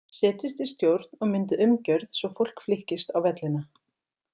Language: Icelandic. Setjist í stjórn og myndið umgjörð svo fólk flykkist á vellina.